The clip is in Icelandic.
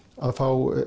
að fá